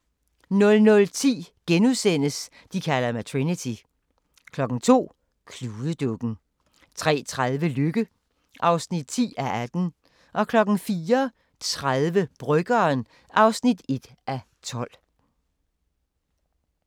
00:10: De kalder mig Trinity * 02:00: Kludedukken 03:30: Lykke (10:18) 04:30: Bryggeren (1:12)